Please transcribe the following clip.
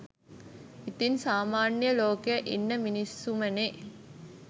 ඉතින් සාමාන්‍ය ලෝකෙ ඉන්න මිනිස්සුමනෙ